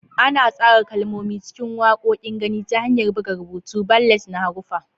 Ana tsara kalmomi cikin waƙoƙin gani ta hanyar buga rubutu, ballet na haruffa.